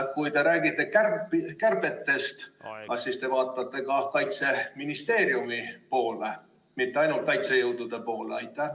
Kui te räägite kärbetest, kas te siis vaatate ka Kaitseministeeriumi poole, mitte ainult kaitsejõudude poole?